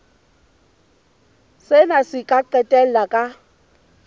sena se ka qetella ka